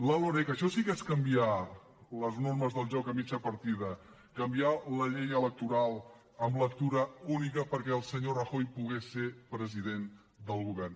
la loreg això sí que és canviar les normes del joc a mitja partida canviar la llei electoral amb lectura única perquè el senyor rajoy pogués ser president del govern